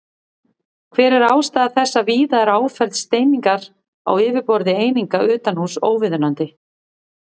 Hver er ástæða þess að víða er áferð steiningar á yfirborði eininga utanhúss óviðunandi?